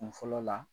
Kun fɔlɔ la